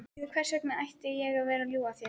Hvers vegna ætti ég að vera að ljúga að þér?